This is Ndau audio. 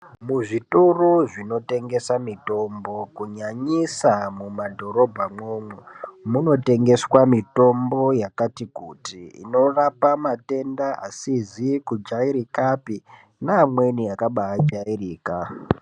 Muzvitoro zvinotengesa mitombo kunyanyisa mumadhorobha mwoumwo munotengeswa mitombo yakati kuti inorapa matenda asizi kujairika api neamweni akabajairika.